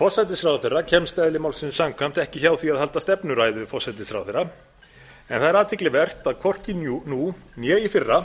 forsætisráðherra kemst eðli málsins samkvæmt ekki hjá því að halda stefnuræðu forsætisráðherra en það er athyglivert að hvorki nú né í fyrra